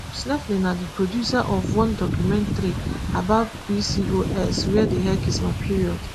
stephanie na di producer of one documentary about pcos where the heck is my period